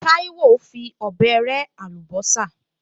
Táíwò fi ọ̀bẹ rẹ́ àlùbọ́sà